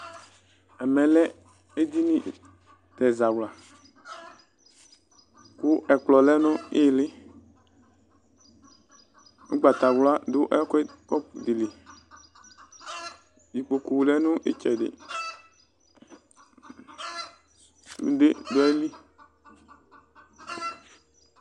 Ɛmɛ lɛ edini ,ɛzawla kʋ ɛkplɔ lɛ nʋ ɩɣɩlɩƲgbatawla dʋ ɛkʋɛdɩ ,kɔpʋ dɩ li Ikpoku lɛ nʋ ɩtsɛdɩ sʋde dʋ ayili